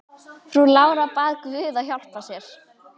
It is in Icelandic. Frú Lára bað guð að hjálpa sér.